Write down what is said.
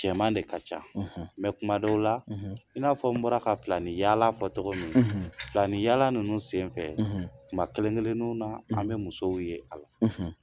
Cɛman de ka ca kuma dɔw la, i n'a fɔ n bɔra ka filani yaala fɔ cogo min, filani yaala ninnu senfɛ tuma kelen-kelenw na an bɛ musow ye a la